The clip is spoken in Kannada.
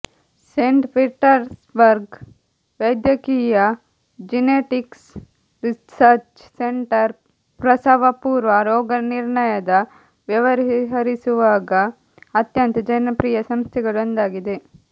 ಸೇಂಟ್ ಪೀಟರ್ಸ್ಬರ್ಗ್ ವೈದ್ಯಕೀಯ ಜೆನೆಟಿಕ್ಸ್ ರಿಸರ್ಚ್ ಸೆಂಟರ್ ಪ್ರಸವಪೂರ್ವ ರೋಗನಿರ್ಣಯದ ವ್ಯವಹರಿಸುವಾಗ ಅತ್ಯಂತ ಜನಪ್ರಿಯ ಸಂಸ್ಥೆಗಳು ಒಂದಾಗಿದೆ